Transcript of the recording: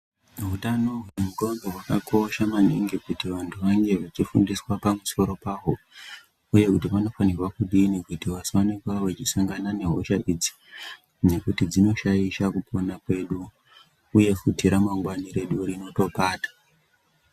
Utano hwendxondo hwakakosha maningi kuti vanthu vange vechifundiswa pamusoro pahwo vanthu vanofanira kudini kuti vasange kuva veisangana nehosha idzi ngekuti dzinoshaisha kupona kwedu uye futi ramangwani redu rinotopata.